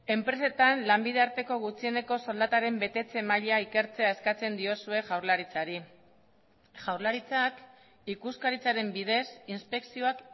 enpresetan lanbide arteko gutxieneko soldataren betetze maila ikertzea eskatzen diozue jaurlaritzari jaurlaritzak ikuskaritzaren bidez inspekzioak